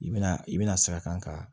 I bɛna i bɛna sira kan ka